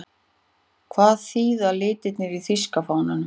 Hvað þýða litirnir í þýska fánanum?